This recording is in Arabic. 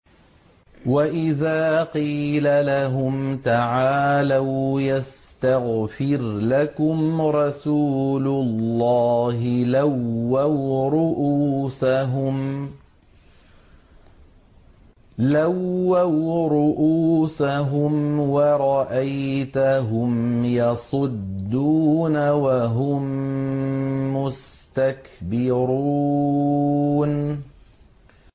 وَإِذَا قِيلَ لَهُمْ تَعَالَوْا يَسْتَغْفِرْ لَكُمْ رَسُولُ اللَّهِ لَوَّوْا رُءُوسَهُمْ وَرَأَيْتَهُمْ يَصُدُّونَ وَهُم مُّسْتَكْبِرُونَ